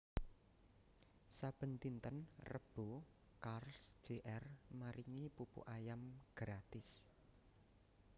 saben dinten Rebo Carls Jr maringi pupu ayam gratis